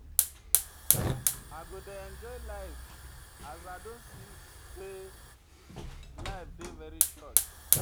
I go dey enjoy life as I don see sey life dey very short.